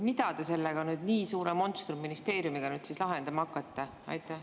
Mida te nüüd selle nii suure monstrumministeeriumiga lahendama hakkate?